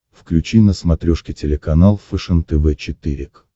включи на смотрешке телеканал фэшен тв четыре к